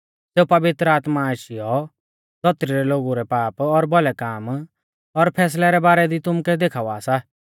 सेऊ पवित्र आत्मा आशीयौ धौतरी रै लोगु रै पाप और भौलै काम और फैसलै रै बारै दी तुमुकै देखावा सा